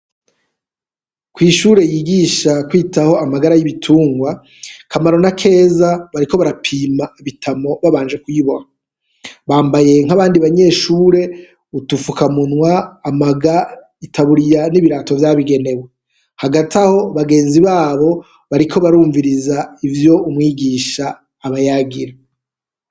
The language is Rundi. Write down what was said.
Kw'ishure yigisha kwitaho amagara y'ibitungwa, Kamaro na Keza bariko barapima Bitamo babanje kuyiboha, bambaye nk'abandi banyeshure, udufukamunwa, amaga, itaburiya, n'ibirato vyabigenewe, hagati aho bagenzi babo bariko barumviriza ivyo umwigisha abayagira.